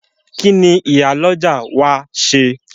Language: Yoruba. Kíni Ìyálọ́jà ó wá ṣe?